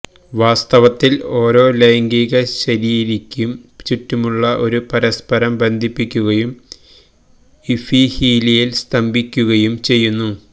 വാസ്തവത്തിൽ ഓരോ ലൈംഗികശരീരിക്കും ചുറ്റുമുള്ള ഒരു പരസ്പരം ബന്ധിപ്പിക്കുകയും ഇഫീഹീലിയൽ സ്തംഭിക്കുകയും ചെയ്യുന്നു